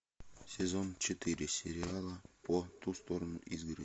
сезон четыре сериала по ту сторону изгороди